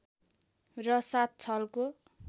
र सात छलको